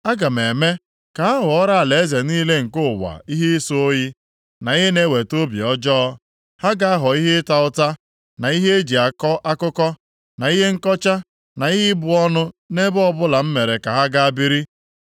Aga m eme ka ha ghọọrọ alaeze niile nke ụwa ihe ịsọ oyi, na ihe na-eweta obi ọjọọ. Ha ga-aghọ ihe ịta ụta, na ihe e ji akọ akụkọ, na ihe nkọcha na ihe ịbụ ọnụ nʼebe ọbụla m mere ka ha gaa biri.